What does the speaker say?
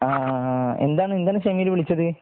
ഹാ എന്താണ് എന്താണ് ഷെമീല് വിളിച്ചത്